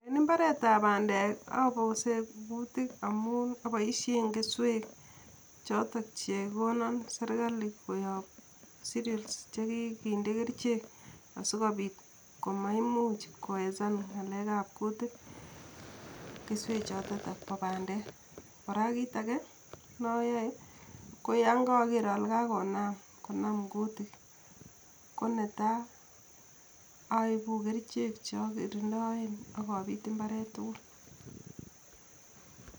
En mbaretap pandeek aboseen kutik amun aboisien kesweek choton chekonon sirkali koyop siriol chekikinde kerichek asikopiit komaimuch kowesan ng'alekap kutik keswechotet po pandeek. Kora kit age noyoe, ko yon kaager ale kagonam konam kutik, ko netai aipu kerichek chokirindoen ak apit mbaret tugul